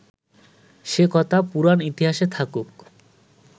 সে কথা পুরাণ ইতিহাসে থাকুক